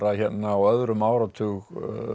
hérna á öðrum áratug